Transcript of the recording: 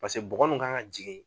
Paseke bɔgɔ nunnu ka kan ka jigi.